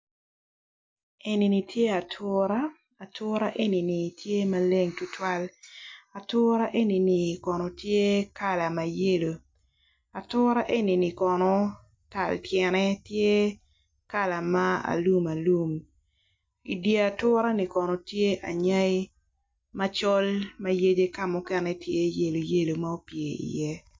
Enini tye atura atura enini tye ma leng tutuwal atura enini kono tye kala mayelo atura enini kono kala tyene tye kala ma alum alum idyet atura ni kono tye anyai macol mayadi kamukene tye yelo yelo ma opye i ye.